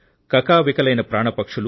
కకావికలైన పక్షులు